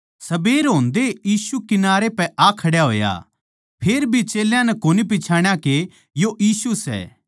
सबेर होंदेए यीशु किनारै पै आ खड्या होया फेरभी चेल्यां नै कोनी पिच्छाणा के यो यीशु सै